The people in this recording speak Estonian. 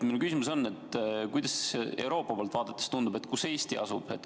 Minu küsimus on, et kuidas Euroopa poolt vaadates tundub, kus Eesti asub.